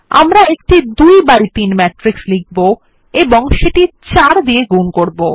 আমরা একটি ২ by ৩ matrix লিখব এবং সেটি ৪ দিয়ে গুন করবো